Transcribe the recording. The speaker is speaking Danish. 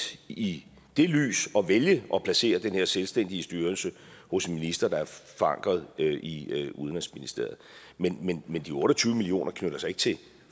i det lys at vælge at placere den her selvstændige styrelse hos en minister der er forankret i udenrigsministeriet men men de otte og tyve million kroner knytter sig ikke til